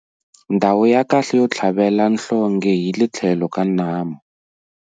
Ndhawu ya kahle yo tlhavela nhlonghe hi le tlhelo ka nhamu.